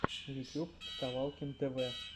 ютьюб вставалкин тв